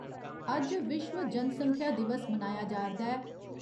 अज्ज विश्व जनसंख्या दिवस मनाया जा'रदा ऐ।